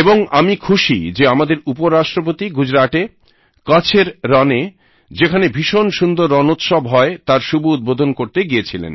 এবং আমি খুশি যে আমাদের উপরাষ্ট্রপতি গুজরাটে কছএর রণে যেখানে ভীষণ সুন্দর রণোত্সব হয় তার শুভ উদ্বোধন করতে গিয়েছিলেন